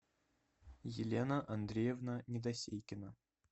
елена андреевна недосейкина